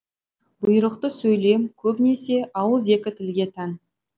бұйрықты сөйлем көбінесе ауызекі тілге тән